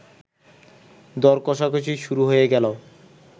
দর-কষাকষি শুরু হয়ে গেল